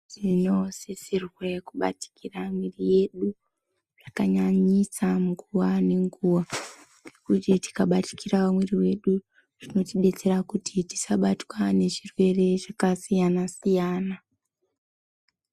Tinosisirwe kubatikira mwiri yedu zvakanyanyisa nguva nenguva. Kuti tikabatikira mwiri yedu zvinotibetsera kuti tisabatwa nechirwe zvakasiyana-siyana.